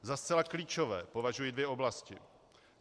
Za zcela klíčové považuji dvě oblasti.